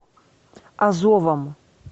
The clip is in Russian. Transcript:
азовом